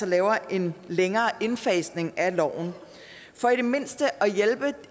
laver en længere indfasning af loven for i det mindste at hjælpe